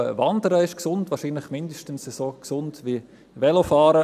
Auch Wandern ist gesund, wahrscheinlich mindestens so gesund wie Velofahren.